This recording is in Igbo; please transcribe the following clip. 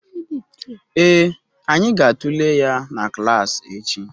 Ee, anyị ga-atụle ya na klas echi